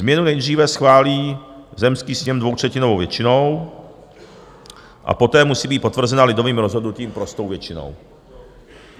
Změnu nejdříve schválí zemský sněm dvoutřetinovou většinou a poté musí být potvrzena lidovým rozhodnutím prostou většinou.